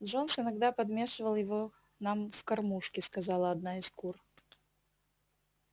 джонс иногда подмешивал его нам в кормушки сказала одна из кур